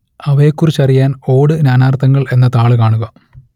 അവയെക്കുറിച്ചറിയാൻ ഓട് നാനാർത്ഥങ്ങൾ എന്ന താൾ കാണുക